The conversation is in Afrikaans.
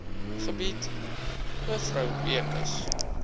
gebied mevrou beukes